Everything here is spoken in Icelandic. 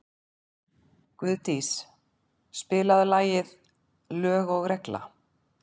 Guðdís, spilaðu lagið „Lög og regla“.